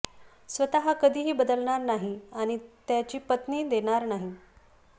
स्वतः कधीही बदलणार नाही आणि त्याची पत्नी देणार नाही